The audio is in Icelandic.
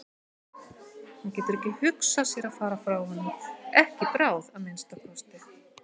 Hún getur ekki hugsað sér að fara frá honum, ekki í bráð að minnsta kosti.